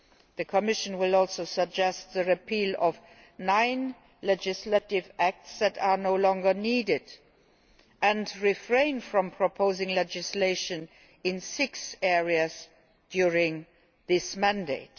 The Commission will also suggest the repeal of nine legislative acts that are no longer needed and refrain from proposing legislation in six areas during this mandate.